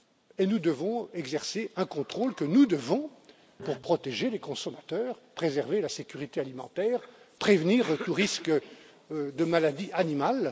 Et nous devons exercer un contrôle, pour protéger les consommateurs, préserver la sécurité alimentaire, prévenir tout risque de maladie animale.